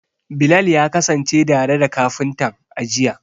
Bilal ya kasance tare da kafintan, a jiya.